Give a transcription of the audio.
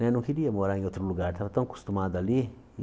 Né não queria morar em outro lugar, estava tão acostumado ali.